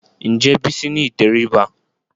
Ǹjẹ́ Bísí ní ìtẹríba?